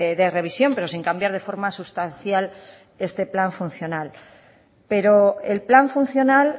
de revisión pero sin cambiar de forma sustancial este plan funcional pero el plan funcional